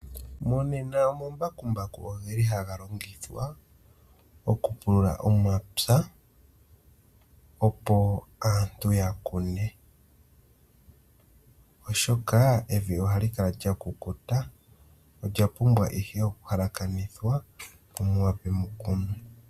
Monena omambakumbaku ogeli haga longithwa oku pulula omapya opo aantu ya kune oshoka evi ohali kala lyakukuta olya ihe okuhalakanithwa opo muwape mukunwe.